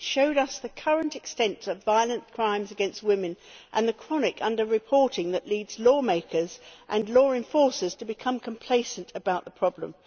It showed us the current extent of violent crimes against women and the chronic under reporting that leads lawmakers and law enforcers to become complacent about the problem.